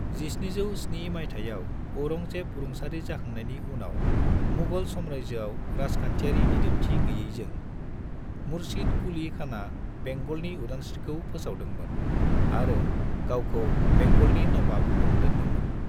1707 मायथायाव अरंजेब रुंसारि जाखांनायनि उनाव मुगल साम्रायजोआव राजखान्थियारि दिदोमथि गैयैजों, मुर्शीद कुली खाना बेंगलनि उदांस्रीखौ फोसावदोंमोन आरो गावखौ बेंगलनि नवाब मुं दोन्दोंमोन।